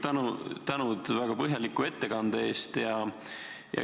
Kõigepealt tänan teid väga põhjaliku ettekande eest!